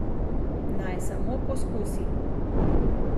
Naj samo poskusi!